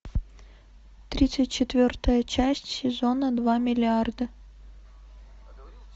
тридцать четвертая часть сезона два миллиарда